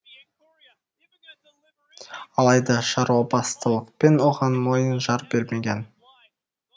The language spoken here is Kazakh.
алайда шаруабастылықпен оған мойны жар бермеген